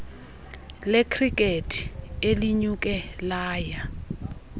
lekhrikethi elinyuke laya